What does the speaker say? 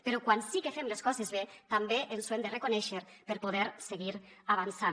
però quan sí que fem les coses bé també ens ho hem de reconèixer per poder seguir avançant